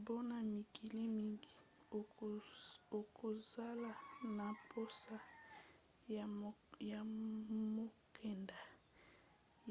mpona mikili mingi okozala na mposa ya mokanda